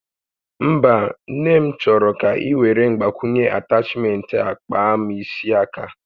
Mba, Nne m chọrọ ka iwere Mgbakwunye atachment a kpaa m isi aka